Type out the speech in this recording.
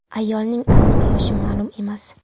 Ayolning aniq yoshi ma’lum emas.